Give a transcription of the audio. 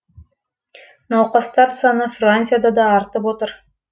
науқастар саны францияда да артып отыр